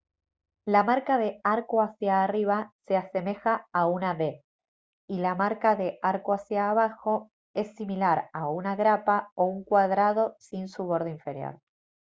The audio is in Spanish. la marca de «arco hacia arriba» se asemeja a una v y la marca de «arco hacia abajo» es similar a una grapa o un cuadrado sin su borde inferior